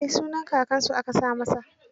Eh, sunaan kakansa aka sa masa.